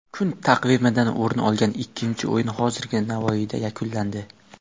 Kun taqvimidan o‘rin olgan ikkinchi o‘yin hozirgina Navoiyda yakunlandi.